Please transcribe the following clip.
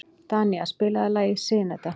Danía, spilaðu lagið „Syneta“.